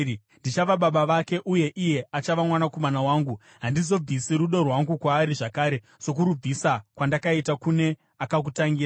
Ndichava baba vake uye iye achava mwanakomana wangu. Handizobvisi rudo rwangu kwaari zvakare sokurubvisa kwandakaita kune akakutangira.